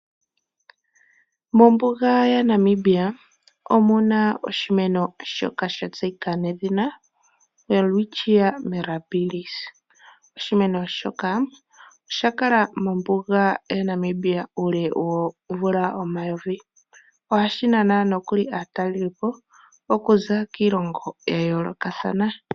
Mombuga yaNamibia omuna oshimeno shoka shatseyika nawa Welwitchia Mirabils. Oshimeno shoka osha kala mombuga yaNamibia ule womvula omayovi nohashi nana aatalelipo okuza kiilongo ya yolokathana.